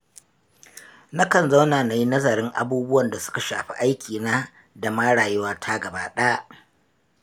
Na kan zauna na yi nazarin abubuwan da su ka shafi aikina da ma rayuwata gabaɗaya.